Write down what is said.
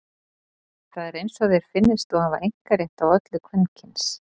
Það er eins og þér finnist þú hafa einkarétt á öllu kvenkyns.